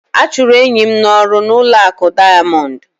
A chụrụ enyi m n'ọrụ n'ụlọ akụ Diamond